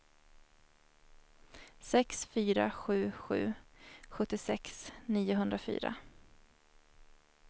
sex fyra sju sju sjuttiosex niohundrafyra